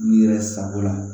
N'i yɛrɛ sago la